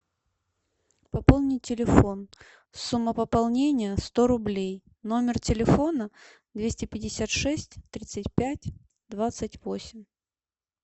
пополнить телефон сумма пополнения сто рублей номер телефона двести пятьдесят шесть тридцать пять двадцать восемь